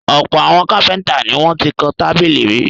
Ọ̀pọ̀ àwọn kápẹ́ńtà ni wọ́n ti kan tábìlì rí.